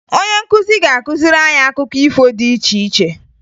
Onye nkuzi ga-akụziri anyị akụkọ ifo dị iche iche